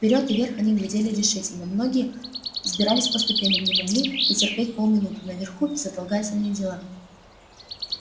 вперёд и вверх они глядели решительно многие взбирались по ступеням не могли дотерпеть полминуты наверху безотлагательные дела